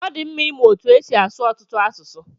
Ọdi mma ịmụ etu esi asụ ọtụtụ asụsụ.